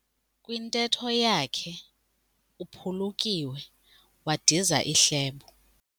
Kwintetho yakhe uphulukiwe wadiza ihlebo.